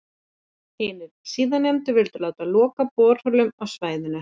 Hinir síðarnefndu vildu láta loka borholum á svæðinu.